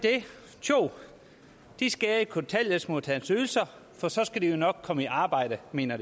det tjoh de skærer i kontanthjælpsmodtagernes ydelser for så skal de jo nok komme i arbejde mener